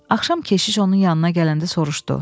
Axşam keşiş onun yanına gələndə soruşdu: